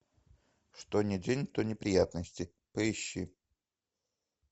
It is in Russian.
что ни день то неприятности поищи